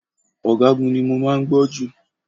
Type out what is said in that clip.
Ọ̀gágun ni mo máa ń gbọ́ jù.